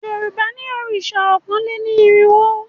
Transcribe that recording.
Yorùbá ní òrìṣà ọkàn lé ní erinwo